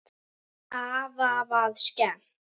Afa var skemmt.